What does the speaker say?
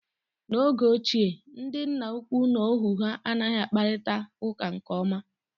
N'oge ochie, ndị nna ukwu na ohu ha anaghị akparịta uka nke ọma.